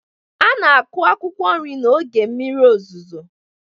A na-akụ akwụkwọ nri n'oge mmiri ozuzo.